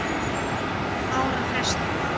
ára fresti.